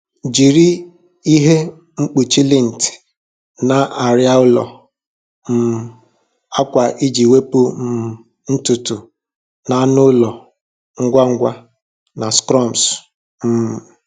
Jiri ihe mkpuchi lint na arịa ụlọ um akwa iji wepụ um ntutu anụ ụlọ ngwa ngwa na crumbs. um